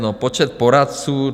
No, počet poradců.